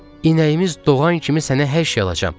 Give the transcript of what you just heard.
İməyimiz doğan kimi sənə hər şey alacağam.